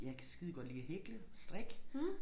Jeg kan skidegodt lide at hækle og strikke